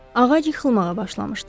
Ağac yıxılmağa başlamışdı.